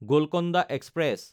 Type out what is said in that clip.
Golconda express